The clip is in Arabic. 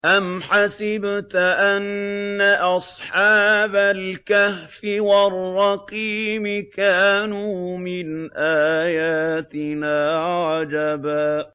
أَمْ حَسِبْتَ أَنَّ أَصْحَابَ الْكَهْفِ وَالرَّقِيمِ كَانُوا مِنْ آيَاتِنَا عَجَبًا